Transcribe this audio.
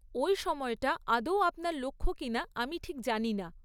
ওই সময়টা আদৌ আপনার লক্ষ্য কিনা আমি ঠিক জানি না।